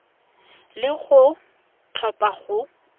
le gore o tlhopha go